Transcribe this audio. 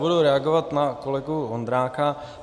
Budu reagovat na kolegu Vondráka.